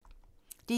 DR1